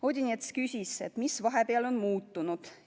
Odinets küsis, mis vahepeal on muutunud.